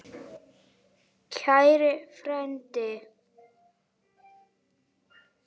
Kæri frændi!